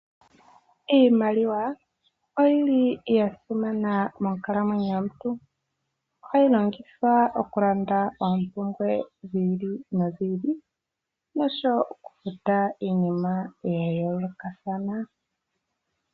Iiimaliwa oyili yasimana monkalamwenyo yomuntu . Ohayi longithwa okulanda oompumbwe dhi ili nodhili noshowoo okufuta iinima yayoolokathana.